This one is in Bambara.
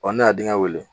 Ɔ ne y'a dingɛ wele